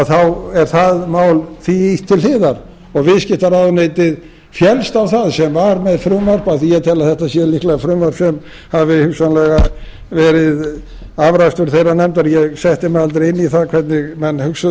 þá er því máli ýtt til hliðar og viðskiptaráðuneytið féllst á það sem var með frumvarp af því ég tel að þetta sé líklega frumvarp sem hafi hugsanlega verið afrakstur þeirrar nefndar ég setti mig aldrei inn í það hvernig menn hugsuðu